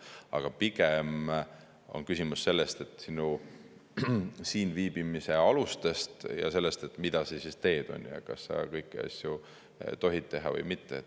Aga pigem on küsimus siinviibimise alustes, et kas sa kõiki asju tohid teha või mitte.